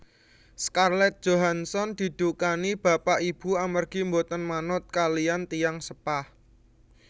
Scarlett Johansson didukani bapak ibu amargi mboten manut kaliyan tiyang sepah